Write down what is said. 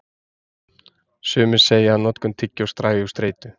Sumir segja að notkun tyggjós dragi úr streitu.